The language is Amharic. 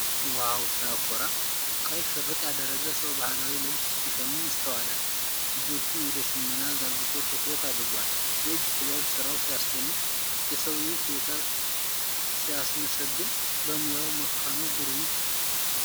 ዋው ሲያኮራ! ቀይ ሽርጥ ያደረገ ሰው ባህላዊ ልብስ ሲሸምን ይስተዋላል። እጆቹን ወደ ሽመናው ዘርግቶ ትኩረት አድርጓል። የእጅ ጥበብ ስራው ሲያስደንቅ! የሰውየው ችሎታ ሲያስመሰግን! በሙያው መካኑ ግሩም!